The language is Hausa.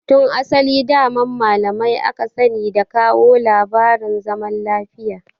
Tun asali daman malamai aka sani da kawo labarin zaman lafiya